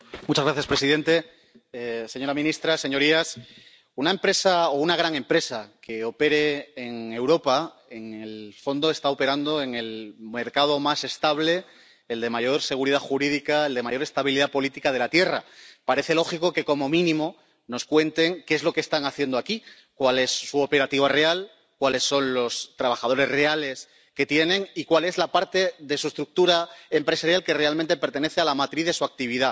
Señor presidente, señora ministra, señorías, una empresa o una gran empresa que opere en Europa, en el fondo está operando en el mercado más estable, el de mayor seguridad jurídica, el de mayor estabilidad política de la Tierra, así que parece lógico que como mínimo nos cuente qué es lo que está haciendo aquí. Cuál es su operativo real, cuáles son los trabajadores reales que tiene y cuál es la parte de su estructura empresarial que realmente pertenece a la matriz de su actividad.